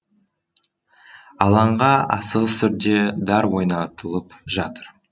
алаңға асығыс түрде дар орнатылып жатыр